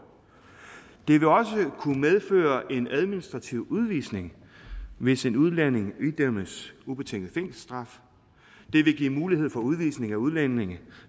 det vil også kunne medføre en administrativ udvisning hvis en udlænding idømmes ubetinget fængselsstraf det vil give mulighed for udvisning af udlændinge